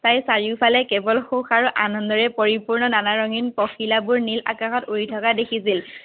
তাই চাৰিওফালে কেৱল সুখ আৰু আনন্দৰে পৰিপূৰ্ণ নানা ৰঙীন পখিলাবোৰ নীল আকাশত উৰি থকা দেখিছিল।